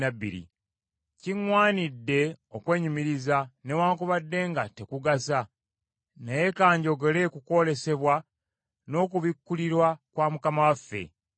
Kiŋŋwanidde okwenyumiriza, newaakubadde nga tekugasa. Naye ka njogere ku kwolesebwa n’okubikkulirwa kwa Mukama waffe.